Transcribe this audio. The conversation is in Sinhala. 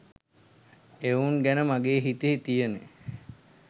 එවුන් ගැන මගේ හිතේ තියෙන